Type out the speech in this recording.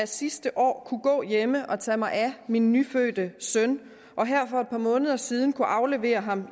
sidste år kunne gå hjem og tage mig af min nyfødte søn og her for et par måneder siden kunne aflevere ham